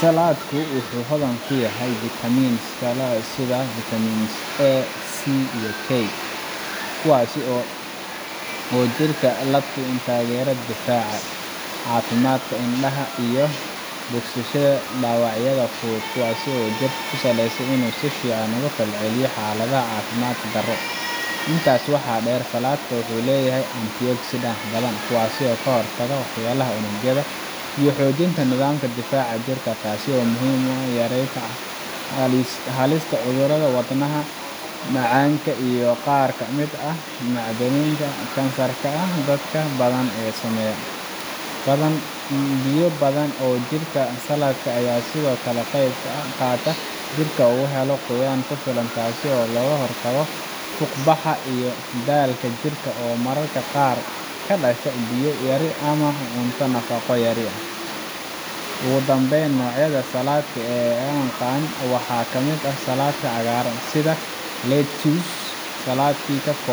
Salaadku wuxu xodhan kuyahy vitamins kale sidha vitamin A,C iyo K, kuwaasi oo jirka sinaaya tageera buhda, cafimadka indaha iyo bogasashada dawacyadha fog kuwaasi oo jirka kusaleyso Inu sifican ogafalceliyo xaaladhaha caafimad dare. Intaad waxaa deer salaadku wuxu leeyahy ged sidac badhan taasi oo kahortaga waxyalaha unugyadha iyo xoojinta nidhaamka jirka taasi oo muhiim uah yarenta xalista cudurada wadnaha, macaanka iyo qaar kamid ah macdaninta kansarka ah dadka badhan ee saameeya. Biyo badhan ee jirka salaadka ah Aya sidhoo kale ka qeyb kaqaata jirka oo waxa laqooyan kufilan taasi oo lagahortago fuqbaxa iyo daalka jirka oo mararka qaar kadashta biyo yari iyo cunto nafaqo yari. Ugudambeyn nocoyadha salaadka aan yaqan waxaa kamid ah salaadka cagaarana sidha legumes.